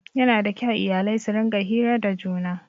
Yana da kyau iyalai su rinƙa hira da juna